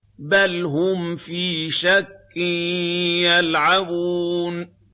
بَلْ هُمْ فِي شَكٍّ يَلْعَبُونَ